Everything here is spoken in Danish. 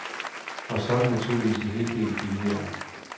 Og så er det naturligvis en hel del billigere.